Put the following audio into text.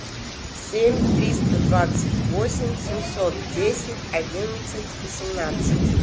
семь триста двадцать восемь семьсот десять одиннадцать восемнадцать